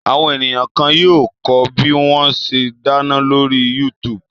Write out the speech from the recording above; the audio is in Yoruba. Àwọn ènìyàn kan yóò kọ́ bí wọ́n ṣe dáná lórí YouTube.